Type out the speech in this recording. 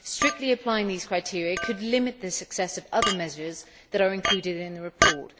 Strictly applying these criteria could limit the success of other measures that are included in the report.